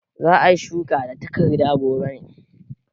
Za a yi shuka da tarakta gobe ne?